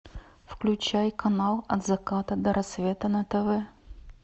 включай канал от заката до рассвета на тв